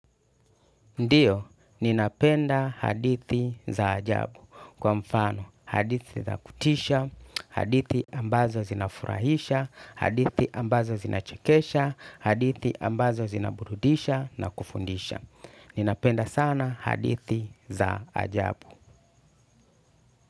Ndiyo, ninapenda hadithi za ajabu. Kwa mfano, hadithi za kutisha, hadithi ambazo zinafurahisha, hadithi ambazo zinachekesha, hadithi ambazo zinaburudisha na kufundisha. Ninapenda sana hadithi za ajabu.